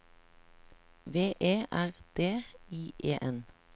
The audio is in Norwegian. V E R D I E N